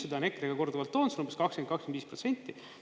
Seda on EKRE ka korduvalt toonud, see on umbes 20–25%.